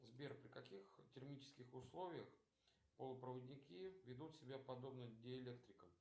сбер при каких термических условиях полупроводники ведут себя подобно диэлектрикам